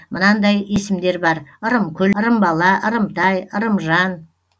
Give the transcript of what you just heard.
мынандай есімдер бар ырымкүл ырымбала ырымтай ырымжан